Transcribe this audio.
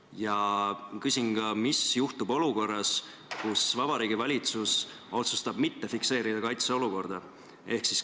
Ja ma küsin ka, mis juhtub olukorras, kui Vabariigi Valitsus otsustab mitte fikseerida kaitseolukorda.